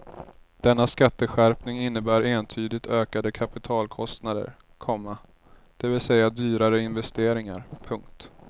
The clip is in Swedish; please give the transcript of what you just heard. Denna skatteskärpning innebär entydigt ökade kapitalkostnader, komma det vill säga dyrare investeringar. punkt